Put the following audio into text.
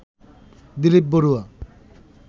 Dilip Barua